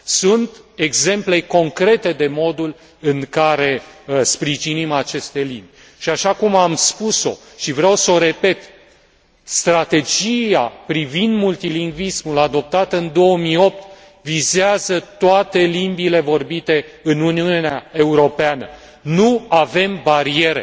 Sunt exemple concrete privind modul în care sprijinim aceste limbi și, așa cum am spus o și vreau să o repet, strategia privind multilingvismul adoptată în 2008 vizează toate limbile vorbite în Uniunea Europeană, nu avem bariere.